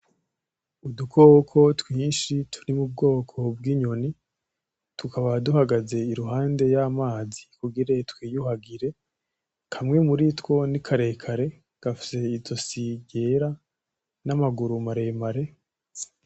Udukoko twinshi turi mu bwoko bw'inyoni tukaba duhagaze iruhande y'amazi kugira twiyuhagire, kamwe muri two ni karekare gafise izosi ryera n'amaguru maremare.